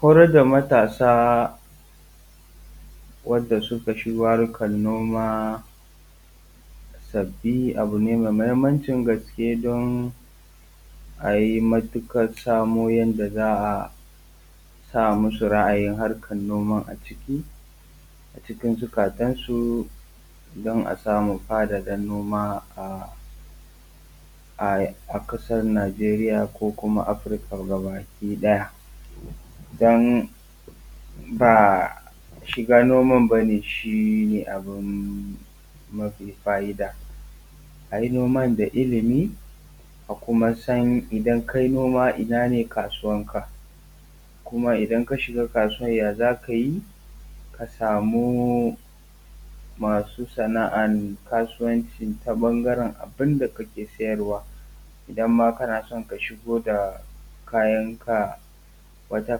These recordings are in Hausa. Horadda matasa wanda suka shigo harkan noma sabbi abu ne mai muhimmancin gaske don a yi matuƙar samo yanda za a sa masu ra'ayin harkan noma a ciki a cikin zukatansu, don a samu faɗaɗa noma a ƙasar Najeriya, ko kuma afurika gaba ki ɗaya. Don ba shiga noma bane shi ne abu mafi fa'ida a yi noma da ilimin, a kuma san idan ka yi noman ina ne kasuwanka, kuma idan ka shiga kasuwan ya za ka yi ka samu masu sana'an kasuwanci ta ɓangaran abinda kake siyarwa. Idan ma kana son ka shigo da kayanka wata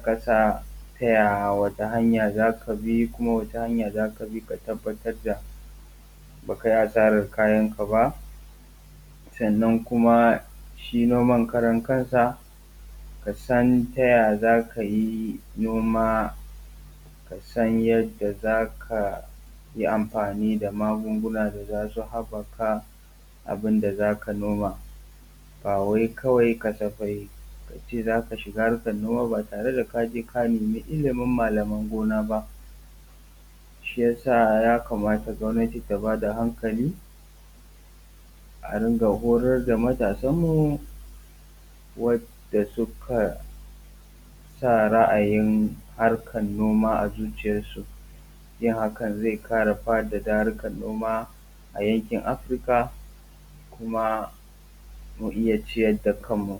ƙasa ta yaya, wata hanya za ka bi, kuma wata hanya za ka bi ka tabbatar da ba ka yi asara na kayan ka ba, sannan kuma shi noma karan kansa kasan ta yaya za ka yi noma, kasan yanda za ka yi amfani da magungunan da za su haɓɓaka abin da zaka noma ba wai kawai kasafai ka ce za ka shiga harkan noma ba tare da ka je ka nema ilimin malaman gona ba. Shi yasa ya kamata gwamnati ta ba da hankali a dinga horadda matasan mu wanda suka sa ra'ayin harkan noma a zuciyansu. Yin hakan zai ƙara faɗaɗa harkan noma a yankin afirika kuma mu iya ciyarda kanmu.